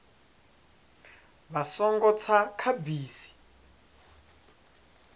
vha songo tsa kha bisi